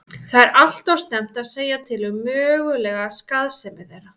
Það er því allt of snemmt að segja til um mögulega skaðsemi þeirra.